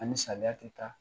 Ani saliya tɛ taa